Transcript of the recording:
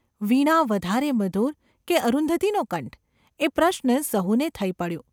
વીણા વધારે મધુર કે અરુંધતીનો કંઠ ? એ પ્રશ્ન સહુને થઈ પડ્યો.